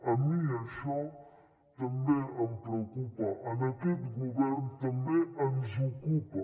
a mi això també em preocupa a aquest govern també ens ocupa